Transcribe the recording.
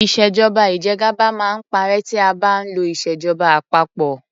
Ìṣèjọba ìjẹgàba máa ń parẹ́ tí a bá ń lo ìṣèjọba àpapọ.